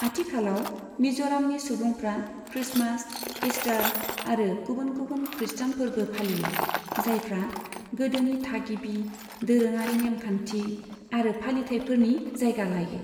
आथिखालाव मिज'रामनि सुबुंफ्रा क्रिस्टमास, ईस्टार आरो गुबुन गुबुन खृष्टान फोरबो फालियो, जायफ्रा गोदोनि थागिबि दोरोङारि नेमखान्थि आरो फालिथाइफोरनि जायगा लायो।